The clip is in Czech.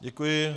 Děkuji.